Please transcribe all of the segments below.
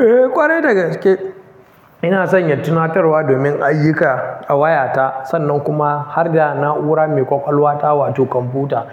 Eh ƙwarai daga gaske. Ina sanya tunatarwa domin ayyuka a wayata sannan kuma har da na'ura mai ƙwaƙwalwa ta wato kwamfuta.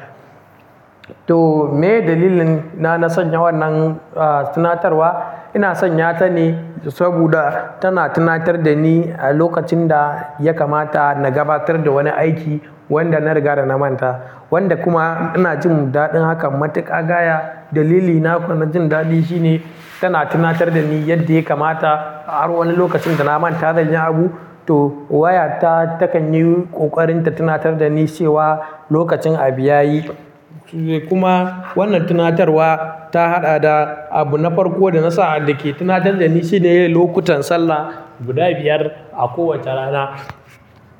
To miye dalilina na sanya wannan, ah, tunatarwa, ina sanya ta ne saboda tana tunatar da ni a lokacin da ya kamata na gabatar da wani aiki wanda na riga da na manta. Wanda kuma ina jin daɗin hakan matuƙa gaya dalilina ko na jin daɗi shine tana tunatar da ni yadda ya kamata a har wani lokacin da na manta da zayi abu. To wayata takan yi ƙoƙarinta tunatar da ni cewa lokacin abu ya yi. Kuma wannan tunatarwa ta haɗa da abu na farko da na sa da ke tunatar da ni shine lokutan sallah guda biyar a kowace rana.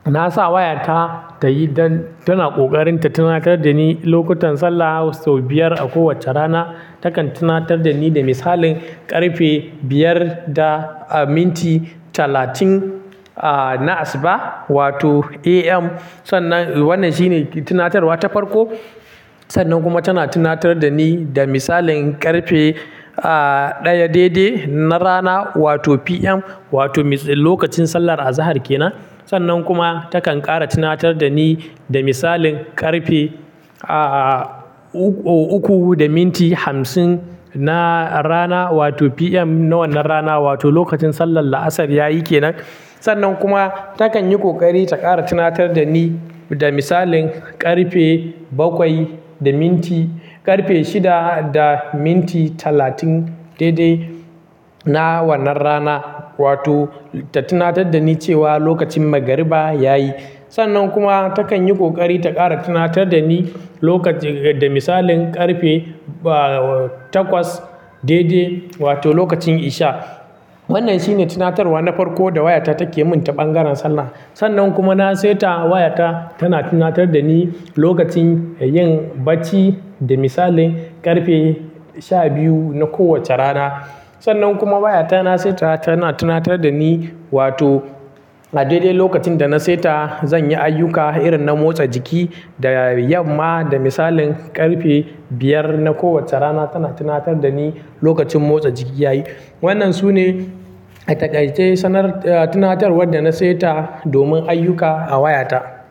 Na sa wayata ta yi don tana ƙoƙarinta tunatar da ni lokutan sallah sau biyar a kowacce rana. Takan tunatar da ni da misalin ƙarfe biyar da minti talatin, ah, na asuba wato AM. Sannan wannan shine tunatarwa ta farko. Sannan kuma tana tunatar da ni da misalin ƙarfe, ah, ɗaya daidai na rana wato PM wato lokacin sallar azahar ke nan. Sannan kuma takan ƙara tunatar da ni da misalin ƙarfe, ah, uku da minti hamsin na rana wato PM na wannan rana wato lokacin sallar la'asar ya yi ke nan. Sannan kuma takan yi ƙoƙari ta ƙara tunatar da ni da misalin ƙarfe bakwai da minti-- ƙarfe shida da minti talatin daidai na wannan rana wato ta tunatar da ni cewa lokacin magariba ya yi. Sannan kuma takan yi ƙoƙari ta ƙara tunatar da ni lokacin da misalin ƙarfe, ah, takwas daidai wato lokacin isha. Wannan shine tunatarwa na farko da wayata take min ta ɓangaren sallah. Sannan kuma na saita wayata tana tunatar da ni lokacin yin bacci da misalin ƙarfe sha biyu na kowacce rana. Sannan kuma wayata na saita tana tunatar da ni wato a daidai lokacin da na saita zan yi ayyuka irin na motsa jiki da yamma da misalin ƙarfe biyar na kowacce rana tana tunatar da ni lokacin motsa jiki ya yi. Wannan sune a taƙaice sanar, ah, tunatarwar da na saita domin ayyuka a wayata.